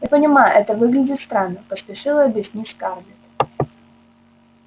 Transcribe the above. я понимаю это выглядит странно поспешила объяснить скарлетт